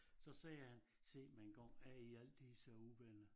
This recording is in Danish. Så sagde han sig mig engang er i altid så uvenner